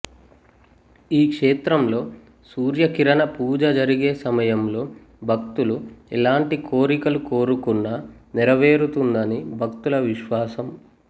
ఈ క్షేత్రంలో సూర్య కిరణ పూజ జరిగే సమయంలో భక్తులు ఎలాంటి కోరికలు కోరుకున్నా నెరవేరుతుందని భక్తుల విశ్వాసం